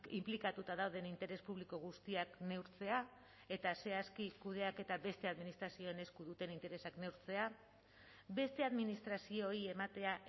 inplikatuta dauden interes publiko guztiak neurtzea eta zehazki kudeaketa beste administrazioen esku duten interesak neurtzea beste administrazioei ematea